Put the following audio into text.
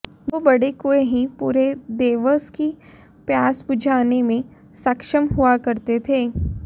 दो बड़े कुँए ही पूरे देवास की प्यास बुझाने में सक्षम हुआ करते थे